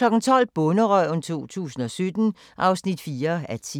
12:00: Bonderøven 2017 (4:10)